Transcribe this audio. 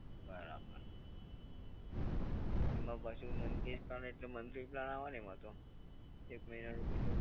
બરાબર. એમાં પાછું monthly plan એટલે monthly plan આવે ને એમાં તો? એક મહિનાનું બિલ